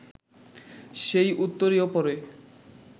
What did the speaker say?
সেই উত্তরীয় পরে